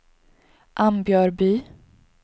Ambjörby